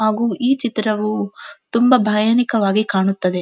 ಹಾಗು ಈ ಚಿತ್ರವು ತುಂಬಾ ಭಯನಿಕವಾಗಿ ಕಾಣುತ್ತದೆ.